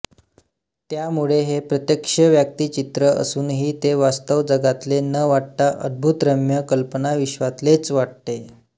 त्यामुळे हे प्रत्यक्ष व्यक्तिचित्र असूनही ते वास्तव जगातले न वाटता अदभुतरम्य कल्पनाविश्वातलेच वाटते